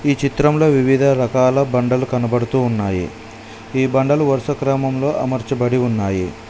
ఈ చిత్రంలో వివిధ రకాల బండలు కనబడుతూ ఉన్నాయి ఈ బండలు వరుస క్రమంలో అమర్చబడి ఉన్నాయి.